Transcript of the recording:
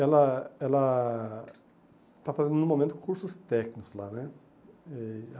Ela ela está fazendo, no momento, cursos técnicos lá né. E